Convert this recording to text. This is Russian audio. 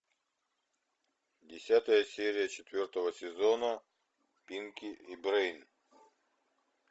десятая серия четвертого сезона пинки и брейн